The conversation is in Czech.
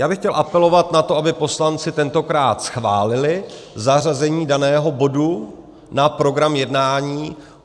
Já bych chtěl apelovat na to, aby poslanci tentokrát schválili zařazení daného bodu na program jednání.